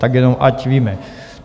Tak jenom, ať víme.